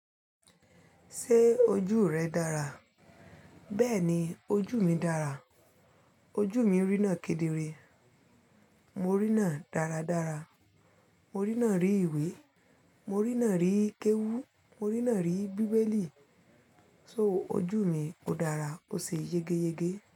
Ṣé ojú rẹ dára? Bẹ́ẹ̀ni, ojú mi dára. Ojú mi rí náà kedere. Mo rí náà dáradára. Mo rí náà rí ìwé. Mo rí náà rí kéwú. Mo rí náà rí bíbélì. So ojú mi o dára, ó ṣe yegeyege.